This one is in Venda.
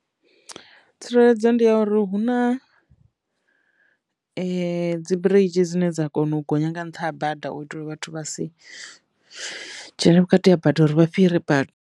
Tsireledzo ndi ya uri hu na [] dzibiriji dzine dza kona u gonya nga nṱha ha bada u itela vhathu vha si dzhene vhukati ha bada uri vha fhire.